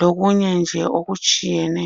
lokunye nje okutshiyeneyo.